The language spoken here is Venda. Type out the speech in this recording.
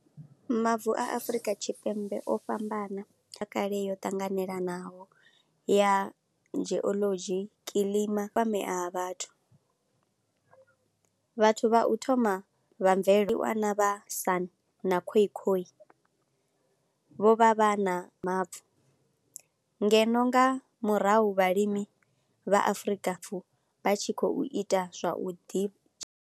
Mavu a Afrika Tshipembe o fhambana, ya kale yo tanganelanaho ya geology, kilima kwamea vhathu. Vhathu vha u thoma vha mvelele ndi wana vhasan na Khoi Khoi, vho vha vha na mavu ngeno nga murahu vhalimi vha Afrika vha tshi khou ita zwa u ḓi.